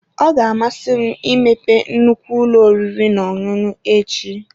Ọ ga-amasị m imepe nnukwu ụlọ oriri na ọṅụṅụ echi.